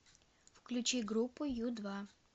включи группу ю два